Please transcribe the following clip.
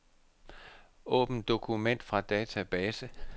Åbn dokument fra database.